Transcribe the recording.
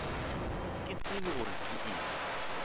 ke tsebe gore ke eng